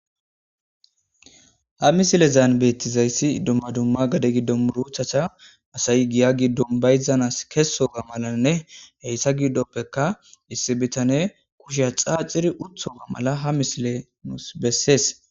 Ha misilezan beetizayssi dumma dumma gade giddon murutata asayi giya giddon bayzanasi kessoga malanne eeta gidoppenne issi bitaney keshe xaaxidi uttida mala ha misileyi beseesi.